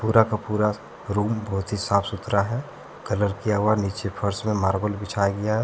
पूरा का पूरा रूम बहुत ही साफ सुथरा है कलर किया हुआ नीचे फर्श में मार्बल बिछाया गया है।